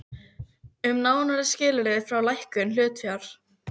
um nánari skilyrði fyrir lækkun hlutafjár.